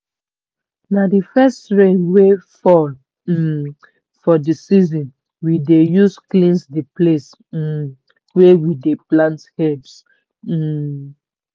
na the first rain wey fall um for the season we dey use cleanse the place um wey we dey plant herbs. um